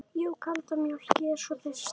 Jú, kalda mjólk, ég er svo þyrst.